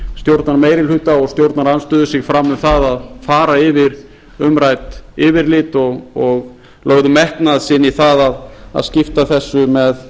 stjórnarmeirihluta og stjórnarandstöðu sig fram um það að fara yfir umrædd yfirlit og lögðu metnað sinn í það að skipta þessu með